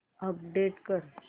update कर